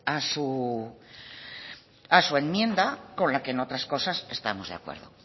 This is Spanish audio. a su enmienda con lo que en otras cosas estamos de acuerdo